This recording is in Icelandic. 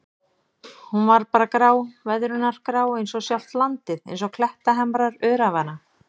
Hún var bara grá, veðrunargrá einsog sjálft landið, einsog klettahamrar öræfanna.